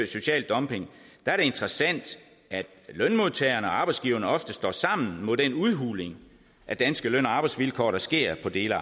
social dumping er det interessant at lønmodtagerne og arbejdsgiverne ofte står sammen mod den udhuling af danske løn og arbejdsvilkår der sker på dele af